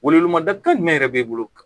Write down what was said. Welewelemada jumɛn de b'e bolo